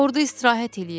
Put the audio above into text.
Orda istirahət eləyirəm.